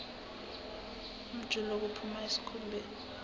umjuluko uphuma esikhumbeni